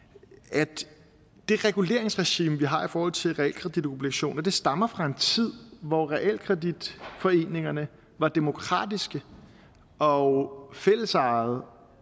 at det reguleringsregime vi har i forhold til realkreditobligationer stammer fra en tid hvor realkreditforeningerne var demokratiske og fællesejede